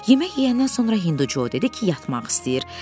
Yemək yeyəndən sonra Hindu Jo dedi ki, yatmaq istəyir.